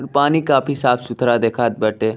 पानी काफी साफ सुथरा देखात बाटे।